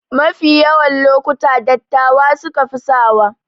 Mafi yawa lokuta dattawa sukafi sawa